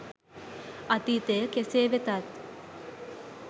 අතීතය කෙසේ වෙතත්